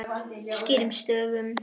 Skýrum stöfum.